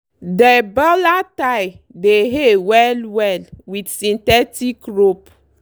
dey baler tie dey hay well-well with synthetic rope.